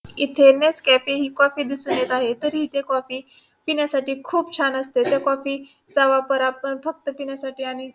इथे next cafe ही coffee दिसून येत आहे तरी इथे ही कॉफी पिण्यासाठी खुप छान असते त्या कॉफी चा वापर आपण फक्त पिण्यासाठी --